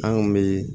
An kun bɛ